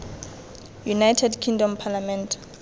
united kingdom parliament